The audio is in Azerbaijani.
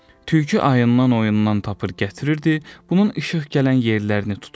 Tülkü ayından-oyundan tapır gətirirdi, bunun işıq gələn yerlərini tuturdu.